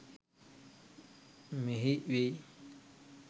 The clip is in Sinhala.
මෙහි වෙයි.